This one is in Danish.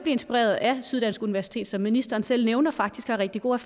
inspireret af syddansk universitet der som ministeren selv nævner faktisk har rigtig gode